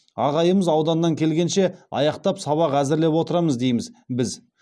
ағайымыз ауданнан келгенше аяқтап сабақ әзірлеп отырамыз дейміз біз